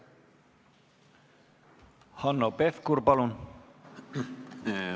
Hanno Pevkur, palun!